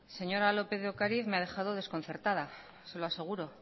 señora lópez de ocariz me ha dejado desconcertada se lo aseguro